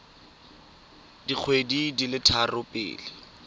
dikgwedi di le tharo pele